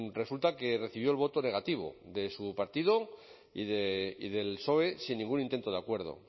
resulta que recibió el voto negativo de su partido y del soe sin ningún intento de acuerdo